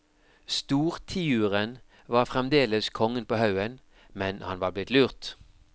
Stortiuren var fremdeles kongen på haugen, men han var blitt lurt.